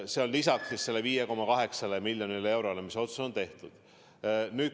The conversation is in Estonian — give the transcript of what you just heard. See on lisaks 5,8 miljonile eurole, mille kohta otsus on tehtud.